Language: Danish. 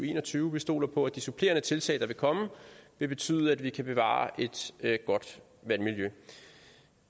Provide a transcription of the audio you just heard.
en og tyve vi stoler på at de supplerende tiltag der vil komme vil betyde at vi kan bevare et godt vandmiljø